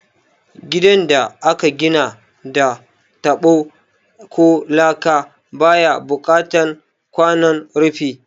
Gidan da aka gina da taɓo ko laka baya buƙatan kwanon rufi